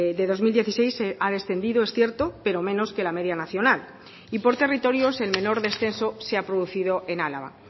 de dos mil dieciséis ha descendido es cierto pero menos que la media nacional y por territorios el menor descenso se ha producido en álava